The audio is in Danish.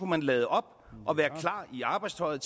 man lade op og være klar i arbejdstøjet